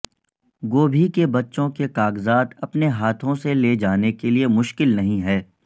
گوبھی کے بچوں کے کاغذات اپنے ہاتھوں سے لے جانے کے لئے مشکل نہیں ہے